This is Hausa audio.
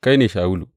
Kai ne Shawulu!